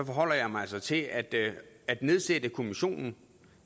forholder jeg mig altså til at det at nedsætte kommissionen